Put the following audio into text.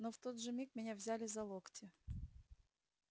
но в тот же миг меня взяли за локти